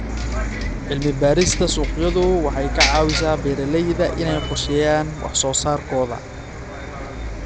Cilmi-baarista suuqyadu waxay ka caawisaa beeralayda inay qorsheeyaan wax soo saarkooda.